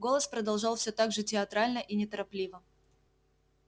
голос продолжал всё так же театрально и неторопливо